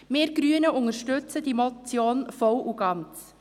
Wir Grünen unterstützen diese Motion voll und ganz.